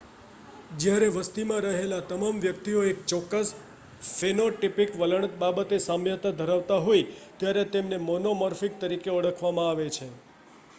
જ્યારે વસ્તીમાં રહેલા તમામ વ્યક્તિઓ એક ચોક્કસ ફેનોટીપીક વલણ બાબતે સામ્યતા ધરાવતા હોય ત્યારે તેમને મોનોમોર્ફીક તરીકે ઓળખવામાં આવે છે